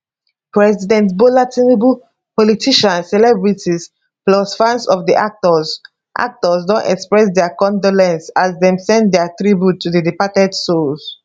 president bola tinubu politicians celebrities plus fans of di actors actors don express dia condolence as dem send dia tribute to di departed souls